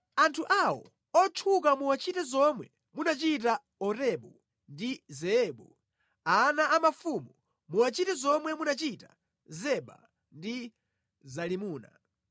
Anthu awo otchuka muwachite zomwe munachita Orebu ndi Zeebu ana a mafumu muwachite zomwe munachita Zeba ndi Zalimuna,